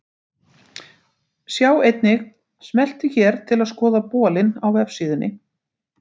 Sjá einnig: Smelltu hér til að skoða bolinn á vefsíðunni.